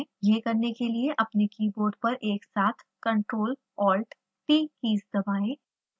यह करने के लिए अपने कीबोर्ड पर एक साथ ctrl+alt+t कीज़ दबाएं